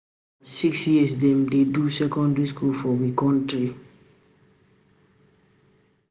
Na six years dem dey do secondary school for we country.